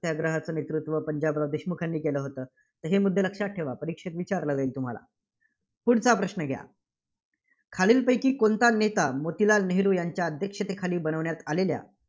सत्याग्रहाचं नेतृत्व पंजाबराव देशमुख यांनी केलं होतं. तर हे मुद्दे लक्षात ठेवा. परीक्षेत विचारलं जाईल तुम्हाला. पुढचा प्रश्न घ्या. खालीलपैकी कोणता नेता मोतीलाल नेहरू यांच्या अध्यक्षतेखाली बनवण्यात आलेल्या